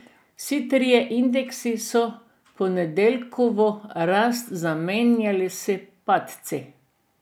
Vsi trije indeksi so ponedeljkovo rast zamenjali s padci.